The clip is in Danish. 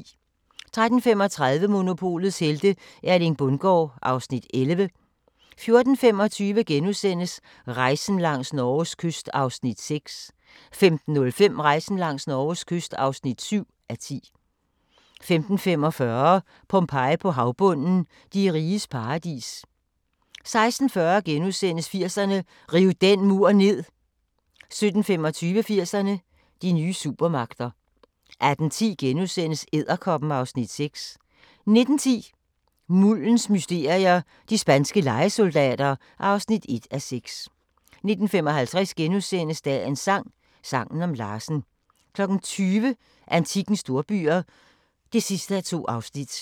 13:35: Monopolets helte - Erling Bundgaard (Afs. 11) 14:25: Rejsen langs Norges kyst (6:10)* 15:05: Rejsen langs Norges kyst (7:10) 15:45: Pompeji på havbunden – De riges paradis 16:40: 80'erne: Riv den mur ned * 17:25: 80'erne: De nye supermagter 18:10: Edderkoppen (Afs. 6)* 19:10: Muldens mysterier - de spanske lejesoldater (1:6) 19:55: Dagens sang: Sangen om Larsen * 20:00: Antikkens storbyer (2:2)